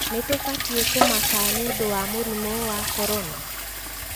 Nĩtubatie kumaka nĩũndũ wa mũrimũ wa Korona?